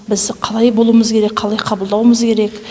біз қалай болуымыз керек қалай қабылдауымыз керек